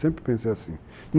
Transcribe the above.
Sempre pensei assim.